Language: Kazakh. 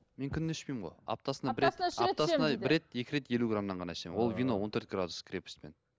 мен күнде ішпеймін ғой аптасына бір екі рет елу грамнан ғана ішемін ол вино он төрт градус крепостьпен